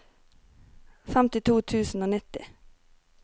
femtito tusen og nitti